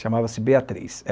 chamava-se Beatriz.